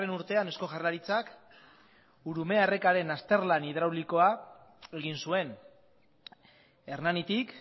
urtean eusko jaurlaritzak urumea errekaren azterlan hidraulikoa egin zuen hernanitik